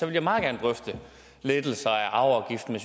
jeg meget gerne drøfte lettelser af arveafgiften